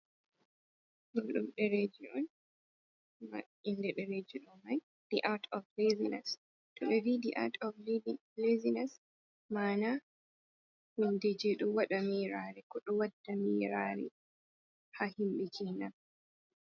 Ɗo ɗum ɗereji on. ma inɗe ɗereje ɗo mai the at of lasines. to me vi ɗi at of lisinus mana hinɗeje ɗo waɗa mirare. Ko ɗo waɗɗa mirari ha himbe kenan.